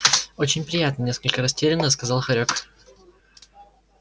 очень приятно несколько растерянно сказал хорёк